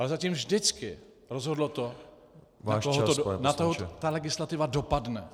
Ale zatím vždycky rozhodlo to, na koho ta legislativa dopadne.